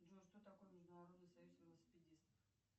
джой что такое международный союз велосипедистов